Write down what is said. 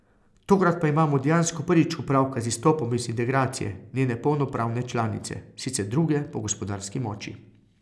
Tokrat pa imamo dejansko prvič opravka z izstopom iz integracije njene polnopravne članice, sicer druge po gospodarski moči.